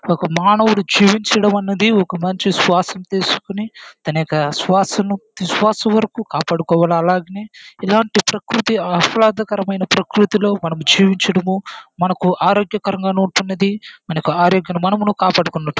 ఒక మానవుడు జీవించడు ఉన్నది ఒక మంచి శ్వాస తీసుకొని తన ఒక శ్వాసము విశ్వాసము వరకు కాపాడుకోవాలి అలాగనే ఇలాంటి ప్రకృతి అఫలదాకరమైన ప్రకృతిలో మనము జీవించడము మనకు ఆరోగ్యకరంగాను ఉంటున్నది. మనకు